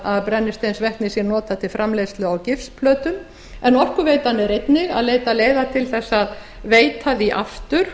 að brennisteinsvetnið sé notað til framleiðslu á gifsplötum en orkuveitan leitar einnig leiða til að veita því aftur